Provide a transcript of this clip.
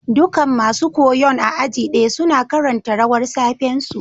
Dukan masun koyon a aji daya suna karanta rawar safe'n su.